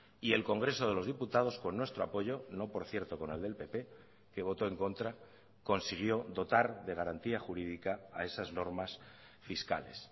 y el congreso de los diputados con nuestro apoyo no por cierto con el del pp que votó en contra consiguió dotar de garantía jurídica a esas normas fiscales